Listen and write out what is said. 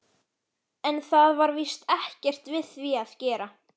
En það var víst ekkert við því að gera.